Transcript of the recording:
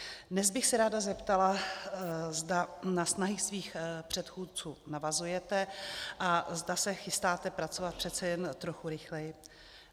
Dnes bych se ráda zeptala, zda na snahy svých předchůdců navazujete a zda se chystáte pracovat přece jen trochu rychleji.